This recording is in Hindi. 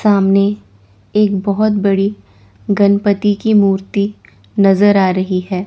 सामने एक बहोत बड़ी गनपति की मूर्ति नजर आ रही है।